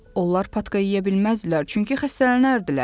Onlar patka yeyə bilməzlər, çünki xəstələnərdilər.